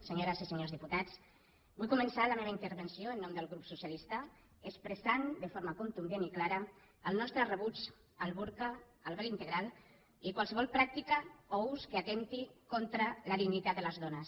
senyores i senyors diputats vull començar la meva intervenció en nom del grup socialistes expressant de forma contundent i clara el nostre rebuig al burca al vel integral i a qualsevol pràctica o ús que atempti contra la dignitat de les dones